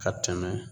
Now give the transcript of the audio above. Ka tɛmɛ